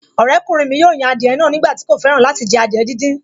Ọ̀rẹ́kùnrin mi yóò yan adìẹ náà nígbà tí kò fẹ́ràn láti jẹ adìẹ díndín